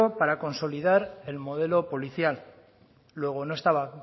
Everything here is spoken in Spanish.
para consolidar el modelo policial luego no estaba